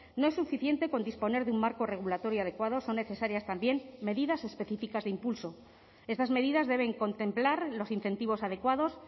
no es suficiente con disponer de un marco regulatorio adecuado son necesarias también medidas específicas de impulso estas medidas deben contemplar los incentivos adecuados